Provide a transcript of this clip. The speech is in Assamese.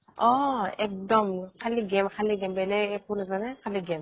অ একডম খালি game খালি game বেলেগ একো নাজানে খালি game